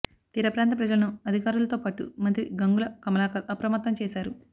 తీర ప్రాంత ప్రజలను అధికారులతో పాటు మంత్రి గంగుల కమలాకర్ అప్రమత్తం చేశారు